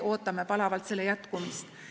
Ootame palavalt ka selle jätkumist.